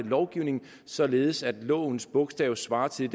lovgivningen således at lovens bogstav svarer til